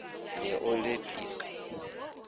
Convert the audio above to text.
be o le t t